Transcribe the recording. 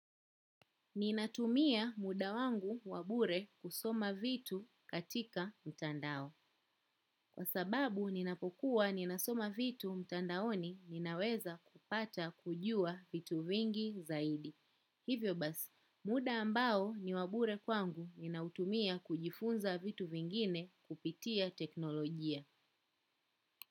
Ninatumia muda wangu wa bure kusoma vitu katika mtandao. Kwa sababu ninapokuwa ninasoma vitu mtandaoni ninaweza kupata kujua vitu vingi zaidi. Hivyo basi, muda ambao ni wabure kwangu ninautumia kujifunza vitu vingine kupitia teknolojia.